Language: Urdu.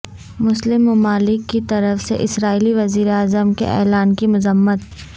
مسلم ممالک کی طرف سے اسرائیلی وزیراعظم کے اعلان کی مذمت